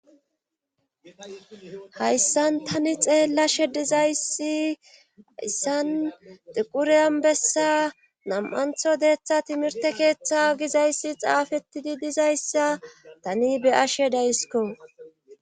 hayssan tani xeellashe dizayssi hayssan xiqureyanbessa nam7antho deeththa timirte keeththa gizayssi xaafettidi dizayssa tani be'ashe daysiko